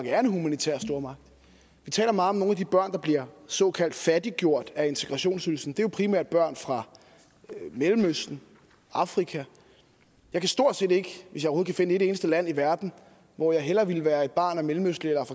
er en humanitær stormagt vi taler meget om nogle af de børn der bliver såkaldt fattiggjort af integrationsydelsen det er jo primært børn fra mellemøsten og afrika jeg kan stort set ikke finde et eneste land i verden hvor jeg hellere ville være et barn af mellemøstlig eller